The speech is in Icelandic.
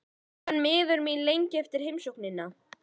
Ég var miður mín lengi eftir heimsóknina.